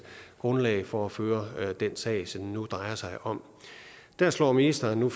grundlag for at føre den sag som det nu drejer sig om der slår ministeren nu